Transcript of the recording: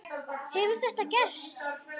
Hefur þetta gerst?